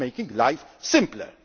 It is making life simpler.